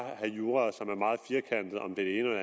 have jura som er meget firkantet om det ene